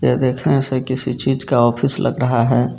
ये देखने से किसी चीज का ऑफिस लग रहा है।